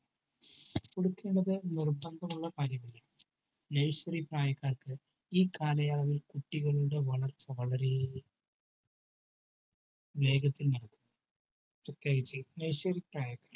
കുളിക്കേണ്ടത് നിർബന്ധമുള്ള കാര്യമല്ല. nursery പ്രായക്കാർക്ക് ഈ കാലയളവിൽ കുട്ടികളുടെ വളർച്ച വളരെ വേഗത്തിൽ നടക്കും. പ്രത്യേകിച്ച് nursery പ്രായത്തിൽ